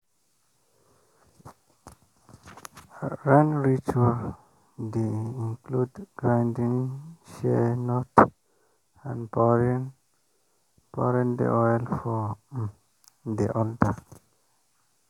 rain ritual dey include grinding shea nut and pouring pouring the oil for um the altar.